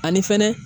Ani fɛnɛ